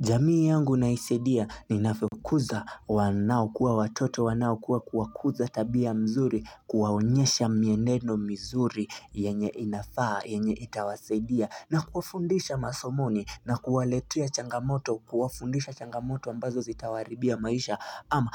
Jamii yangu naisadia ni naisaidia navyokuza wanao kuwa watoto wanao kuwa kuza tabia mzuri kuwaonyesha mieneno mzuri yenye inafaa yenye itawasadia na kuafundisha masomoni na kuwaletea changamoto kuwafundisha changamoto ambazo zitawaribia maisha ama